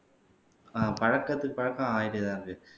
ஆஹ் பழக்கத்துக்கு பழக்கம் ஆயிட்டேதான் இருக்கு